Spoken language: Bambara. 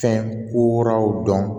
Fɛn kuraw dɔn